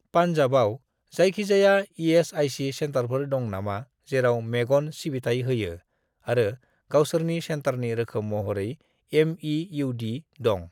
पान्जाबआव जायखिजाया इ.एस.आइ.सि. सेन्टारफोर दं नामा जेराव मेगन सिबिथाय होयो आरो गावसोरनि सेन्टारनि रोखोम महरै एम.इ.इउ.डी. दं?